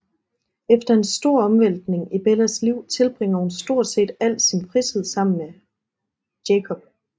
Efter en stor omvæltning i Bellas liv tilbringer hun stort set al sin fritid sammen med Jacob